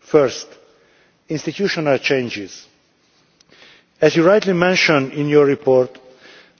First institutional changes. As was rightly mentioned in the report,